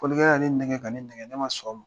Fɔlikɛlan ye nɛgɛ ka ne nɛgɛ, ne ma sɔn o ma.